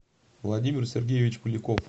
владимир сергеевич поляков